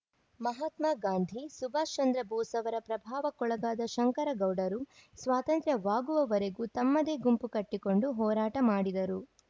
ಮಹಾತ್ಮ ಗಾಂಧಿ ಸುಭಾಷ ಚಂದ್ರ ಬೋಸ್‌ ಅವರ ಪ್ರಭಾವಕ್ಕೊಳಗಾದ ಶಂಕರಗೌಡರು ಸ್ವಾತಂತ್ರ್ಯವಾಗುವವರೆಗೂ ತಮ್ಮದೇ ಗುಂಪು ಕಟ್ಟಿಕೊಂಡು ಹೋರಾಟ ಮಾಡಿದರು